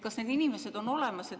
Kas need inimesed on olemas?